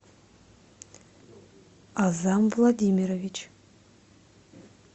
аъзам владимирович